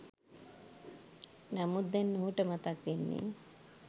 නමුත් දැන් ඔහුට මතක් වෙන්නේ